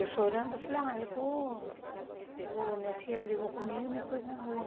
Eu chorando, eu falei, olha eu estou eu minha tia brigou comigo e me pôs na rua.